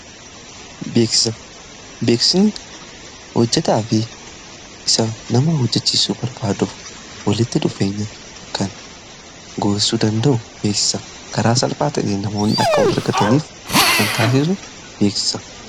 beeksisa beeksisni hojjetaa fi isa nama hojjechiisu barbaaduuf walitti dhufeenya kan geessuu danda'u. Beeksisa karaa salphaa ta'een namoonni akka wal argataniif kan taasisu beeksisa.